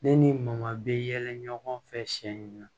Ne ni mɔman be yɛlɛ ɲɔgɔn fɛ siɲɛ